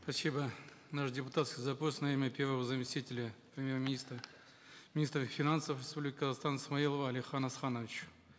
спасибо наш депутатский запрос на имя первого заместителя премьер министра министра финансов республики казахстан смаилова алихана асхановича